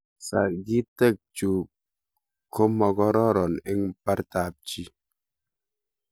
sagitek chu komagororon eng bortab chii